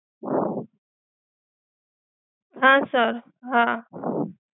હા સર, હા.